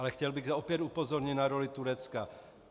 Ale chtěl bych opět upozornit na roli Turecka.